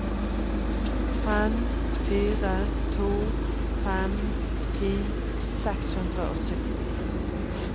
fem fire to fem ti seks hundre og sytti